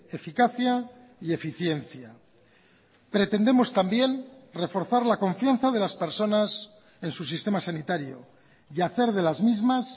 eficacia y eficiencia pretendemos también reforzar la confianza de las personas en su sistema sanitario y hacer de las mismas